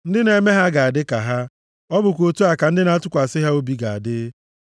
Ndị na-eme ha ga-adị ka ha. Ọ bụkwa otu a ka ndị na-atụkwasị ha obi ga-adị.